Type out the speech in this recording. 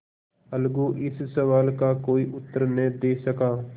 अलगू इस सवाल का कोई उत्तर न दे सका